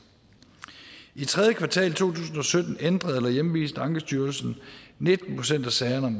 i tredje kvartal to tusind og sytten ændrede eller hjemviste ankestyrelsen nitten procent af sagerne om